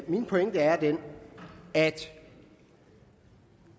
min pointe er den at